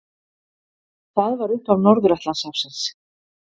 Það var upphaf Norður-Atlantshafsins.